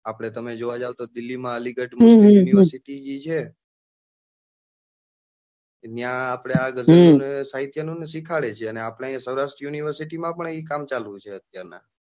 આપડે તમે જોવા જાઓ તો દિલ્હીમાં અલીગઢમાં university જે છે ત્યાં આપણે ગધ્ય સાહિત્ય નું સીખાવાડે છે અને આપડે અહી સૌરાષ્ટ્ર university માં પણ કામ ચાલુ છે અત્યાર નાં